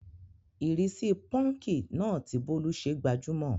Ìrísí púnkì náà tí bólú ṣe gbajúmọ̀,